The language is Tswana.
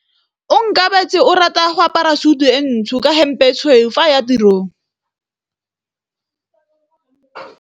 Onkabetse o rata go apara sutu e ntsho ka hempe e tshweu fa a ya tirong.